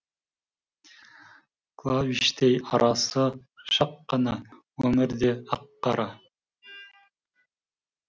клавиштей арасы шақ қана өмір де ақ қара